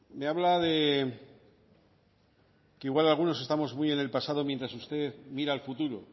me habla de que igual algunos estamos muy en el pasado mientras usted mira al futuro